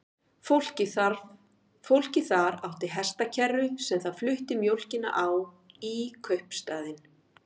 Fólkið þar átti hestakerru sem það flutti mjólkina á í kaupstaðinn.